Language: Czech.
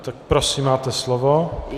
Tak prosím, máte slovo.